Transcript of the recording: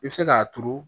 I bɛ se k'a turu